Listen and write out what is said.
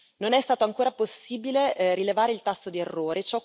Non è stato ancora possibile rilevare il tasso di errore.